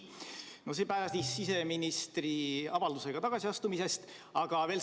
No see päädis siseministri avaldusega tagasiastumise kohta.